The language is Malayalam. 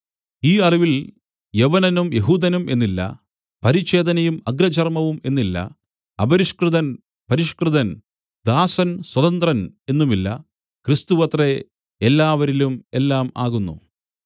ഈ അറിവിൽ യവനനും യെഹൂദനും എന്നില്ല പരിച്ഛേദനയും അഗ്രചർമവും എന്നില്ല അപരിഷ്കൃതൻ പരിഷ്കൃതൻ ദാസൻ സ്വതന്ത്രൻ എന്നുമില്ല ക്രിസ്തുവത്രേ എല്ലാവരിലും എല്ലാം ആകുന്നു